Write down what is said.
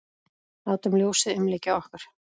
Látum ljósið umlykja okkur.